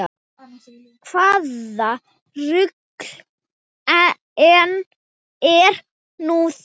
Hvaða rugl er nú það?